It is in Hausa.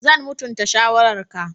Zan mutunta shawararka.